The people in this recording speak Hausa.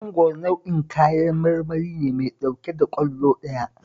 Mangwaro nau'in kayan marmari ne mai ɗauke da ƙwallo ɗaya